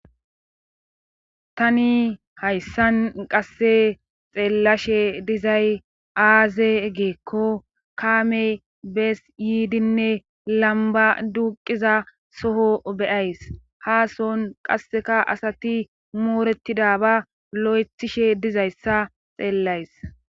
tani hayssan qasse xeellashe dizay aazee giikko kaamey bees yiidinne lamba duuqiza soho be7ays haa sohon qasseka asati mooretida ba lo7ethishe dizayssa xeellays